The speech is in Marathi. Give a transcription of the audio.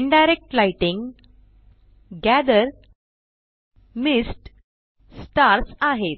indirect lighting gather mist stars आहेत